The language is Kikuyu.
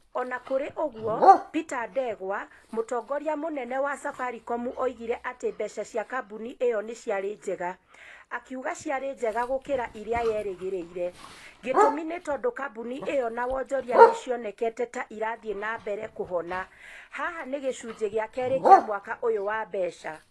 O na kũrĩ ũguo, Peter Ndegwa, mũtongoria mũnene wa Safaricom oigire atĩ mbeca cia kambuni ĩyo nĩ ciarĩ njega. Akiuga ciarĩ njega gũkĩra ũrĩa yerĩgĩrĩire. Gĩtũmi nĩ tondũ kambuni ĩyo na wonjoria nĩ cionekete ta irathiĩ na mbere kũhona. Haha nĩ gĩcunjĩ gĩa kerĩ kĩa mwaka ũyũ wa mbeca.